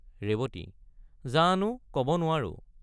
ৰেৱতী—জানো কব নোৱাৰো।